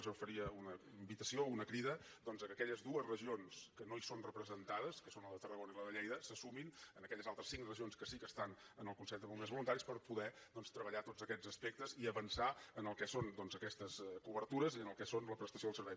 jo faria una invitació una crida doncs que aquelles dues regions que no hi són representades que són la de tarragona i la de lleida se sumin a aquelles altres cinc regions que sí que estan en el consell de bombers voluntaris per poder doncs treballar tots aquests aspectes i avançar en el que són aquestes cobertures i el que és la prestació del servei